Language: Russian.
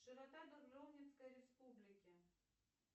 широта дубровницкой республики